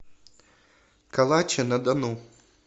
калаче на дону